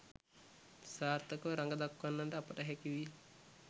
සාර්ථකව රඟදක්වන්නට අපට හැකි විය